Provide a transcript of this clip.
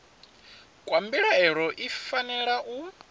kwa mbilaelo i fanela u